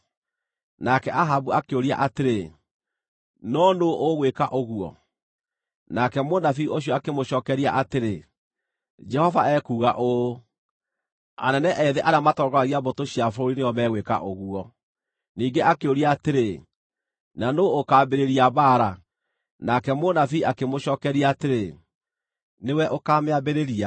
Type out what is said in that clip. Nake Ahabu akĩũria atĩrĩ, “No nũũ ũgwĩka ũguo?” Nake mũnabii ũcio akĩmũcookeria atĩrĩ, “Jehova ekuuga ũũ: Anene ethĩ arĩa matongoragia mbũtũ cia bũrũri nĩo megwĩka ũguo.” Ningĩ akĩũria atĩrĩ, “Na nũũ ũkaambĩrĩria mbaara?” Nake mũnabii akĩmũcookeria atĩrĩ, “Nĩwe ũkaamĩambĩrĩria.”